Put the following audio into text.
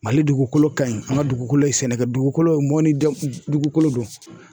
Mali dugukolo ka ɲi an ka dugukolo ye sɛnɛkɛ dugukolo mɔni de dugukolo do.